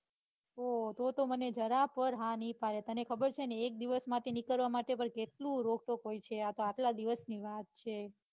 ઓ તોતો મને જરા પણ હા નાઈ પાડે તને ખબર છે ને એક દિવસ માટે પણ નીકળવા માટે પણ કેટલું રોકટોક હોય છે આતો આટલા દિવસની વાત છે.